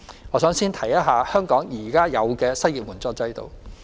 我想先說說香港現有的失業援助制度。